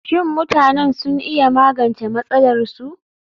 Shin mutanen sun iya magance matsalarsu?